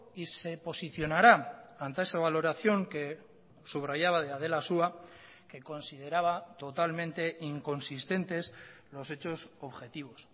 y se posicionará ante esa valoración que subrayaba de adela asúa que consideraba totalmente inconsistentes los hechos objetivos